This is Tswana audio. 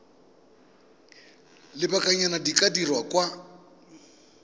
lobakanyana di ka dirwa kwa